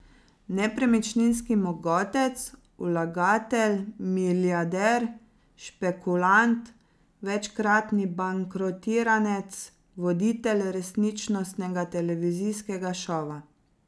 Nepremičninski mogotec, vlagatelj, milijarder, špekulant, večkratni bankrotiranec, voditelj resničnostnega televizijskega šova.